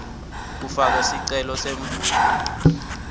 kufaka sicelo semvumo